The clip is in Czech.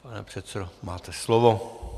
Pane předsedo, máte slovo.